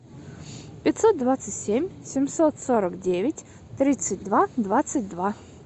пятьсот двадцать семь семьсот сорок девять тридцать два двадцать два